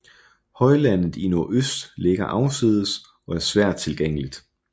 Højlandet i nordøst ligger afsides og er svært tilgængeligt